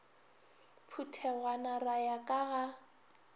phuthegwana ra ya ka ga